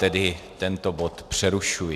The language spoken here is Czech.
Tedy tento bod přerušuji.